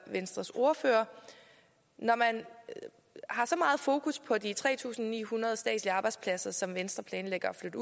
venstres ordfører når man har så meget fokus på de tre tusind ni hundrede statslige arbejdspladser som venstre planlægger at